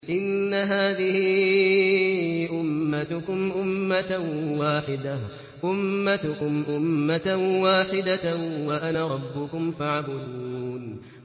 إِنَّ هَٰذِهِ أُمَّتُكُمْ أُمَّةً وَاحِدَةً وَأَنَا رَبُّكُمْ فَاعْبُدُونِ